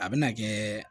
A bɛna kɛ